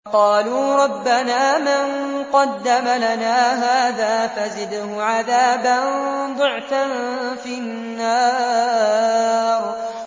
قَالُوا رَبَّنَا مَن قَدَّمَ لَنَا هَٰذَا فَزِدْهُ عَذَابًا ضِعْفًا فِي النَّارِ